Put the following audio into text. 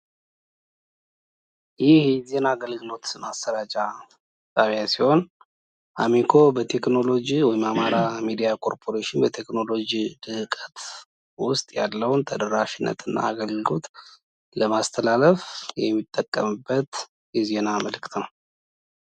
ይህ የዜና አገልግሎት ማሰራጫ ጣቢያ ሲሆን አሚኮ በቴክህኖሎጅ ወይም አማራ ሚዲያ ኮርፖራሽን በቴክህኖሎጅ ልህቀት ወስጥ ያለውን ተደራሽነት እና አገልግሎት ለማስተላለፍ የሚጠቀምበት የዜና መልዕክት ነው።